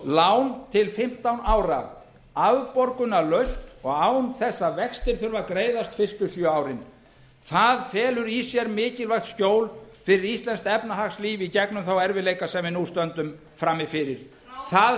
lán til fimmtán ára afborgunarlaust og án þess að vextir þurfi að greiðast fyrstu sjö árin það felur í sér mikilvægt skjól fyrir íslenskt efnahagslíf í gegnum þá erfiðleika sem við nú stöndum frammi fyrir það